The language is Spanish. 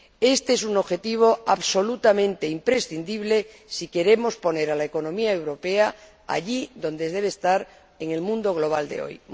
Éste es un objetivo absolutamente imprescindible si queremos poner a la economía europea allí donde debe estar en el mundo global de hoy.